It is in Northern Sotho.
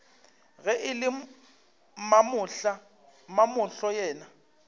ge e le mamahlo yena